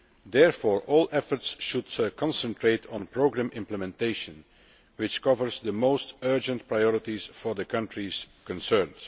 Therefore all efforts should concentrate on programme implementation, which covers the most urgent priorities for the countries concerned.